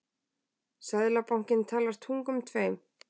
Seðlabankinn talar tungum tveim